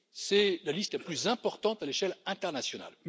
C'est la liste la plus importante à l'échelle internationale.